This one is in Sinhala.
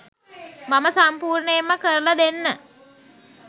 මම සම්පුර්ණයෙන්ම කරලා දෙන්න